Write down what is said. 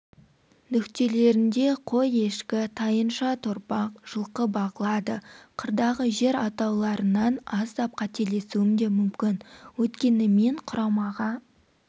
нүктелерінде қой-ешкі тайынша-торпақ жылқы бағылады қырдағы жер атауларынан аздап қателесуім де мүмкін өйткені мен құрамаға